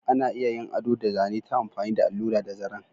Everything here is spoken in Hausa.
Ana iya yin ado da zane ta amfani da allura da zaren.